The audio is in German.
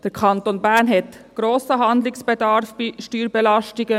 Der Kanton Bern hat grossen Handlungsbedarf bei den Steuerbelastungen.